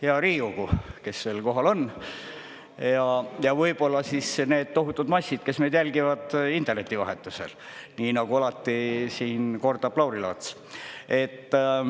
Hea Riigikogu, kes veel kohal on, ja võib-olla siis need tohutud massid, kes meid jälgivad interneti vahetusel, nii nagu alati siin kordab Lauri Laats.